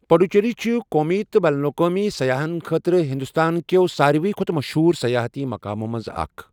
پڈوچیری چھُ قومی تہٕ بین الاقوٲمی سیاحن خٲطرٕ ہندوستان کٮ۪و ساروٕے کھۄتہٕ مشہوٗر سیاحتی مقامو منٛز اکھ۔